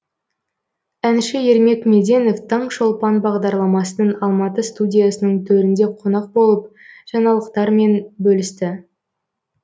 әнші ермек меденов таңшолпан бағдарламасының алматы студиясының төрінде қонақ болып жаңалықтарымен бөлісті